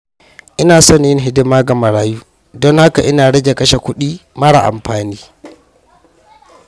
Ina son yin hidima ga marayu, don haka ina rage kashe kudi mara amfani.